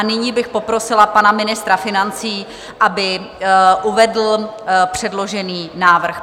A nyní bych poprosila pana ministra financí, aby uvedl předložený návrh.